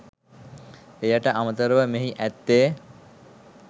එයට අමතරව මෙහි ඇත්තේ